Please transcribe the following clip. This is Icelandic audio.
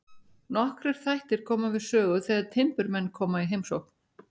Nokkrir þættir koma við sögu þegar timburmenn koma í heimsókn.